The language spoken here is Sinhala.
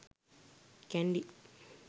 kandy